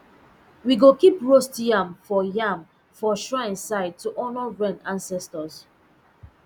we go keep roast yam for yam for shrine side to honour rain ancestors